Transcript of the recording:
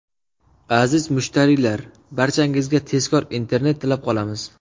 Aziz mushtariylar, barchangizga tezkor internet tilab qolamiz.